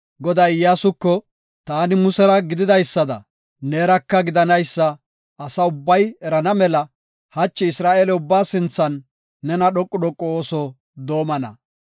Goday Iyyasuko, “Taani Musera gididaysada, neeraka gidanaysa asa ubbay erana mela hachi Isra7eele ubbaa sinthan nena dhoqu dhoqu ooso doomana.